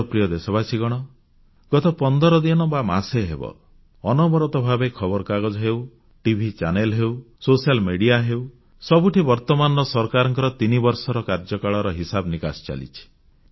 ମୋର ପ୍ରିୟ ଦେଶବାସୀଗଣ ଗତ ପନ୍ଦର ଦିନ ବା ମାସେ ହେବ ଅନବରତ ଭାବେ ଖବରକାଗଜ ହେଉ ଟିଭି ଚ୍ୟାନେଲ ହେଉ ସୋସିଆଲ୍ ମେଡିଆ ହେଉ ସବୁଠି ବର୍ତ୍ତମାନର ସରକାରଙ୍କ 3 ବର୍ଷର କାର୍ଯ୍ୟକାଳର ହିସାବ ନିକାଶ ଚାଲିଛି